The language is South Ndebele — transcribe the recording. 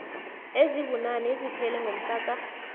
ezibunane eziphele ngomhlaka